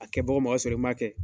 A kɛ bɔ mɔgɔ sɔrɔ i ma kɛ